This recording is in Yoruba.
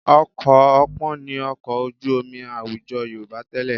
Ọkọ̀ ọpọ́n ni ọkọ̀ ojú omi àwùjọ Yorùbá tẹ́lẹ̀